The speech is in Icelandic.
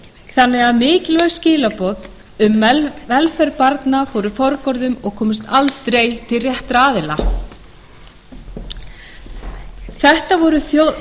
þannig að mikilvæg skilaboð um velferð barna fóru forgörðum og komust aldrei til réttra aðila þetta